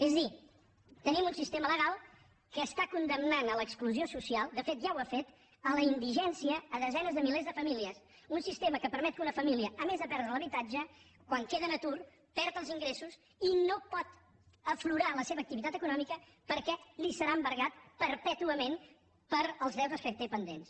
és a dir tenim un sistema legal que està condemnant a l’exclusió social de fet ja ho ha fet a la indigència desenes de milers de famílies un sistema que permet que una família a més de perdre l’habitatge quan queda en atur perdi els ingressos i no pugui fer aflorar la seva activitat econòmica perquè li serà embargat perpètuament pels deutes que té pendents